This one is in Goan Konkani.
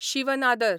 शीव नादर